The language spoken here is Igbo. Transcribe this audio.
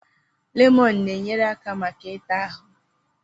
Lemọnụ na-enyere aka maka ị ta ahụ.